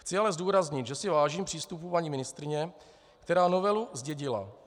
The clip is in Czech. Chci ale zdůraznit, že si vážím přístupu paní ministryně, která novelu zdědila.